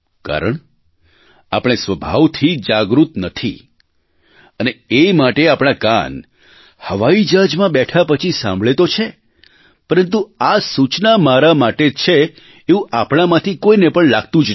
કારણ આપણે સ્વભાવથી જાગૃત નથી અને એ માટે આપણા કાન હવાઇજહાજમાં બેઠા પછી સાંભળે તો છે પરંતુ આ સૂચના મારા માટે છે એવું આપણામાંથી કોઇને પણ લાગતું જ નથી